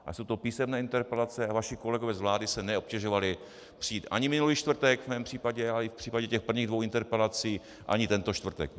Ale jsou to písemné interpelace a vaši kolegové z vlády se neobtěžovali přijít ani minulý čtvrtek v mém případě, ale i v případě těch prvních dvou interpelací ani tento čtvrtek.